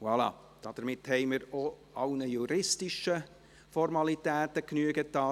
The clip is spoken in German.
Voilà, damit haben wir auch allen juristischen Formalitäten Genüge getan.